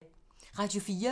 Radio 4